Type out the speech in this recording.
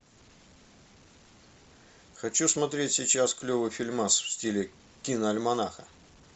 хочу смотреть сейчас клевый фильмас в стиле киноальманаха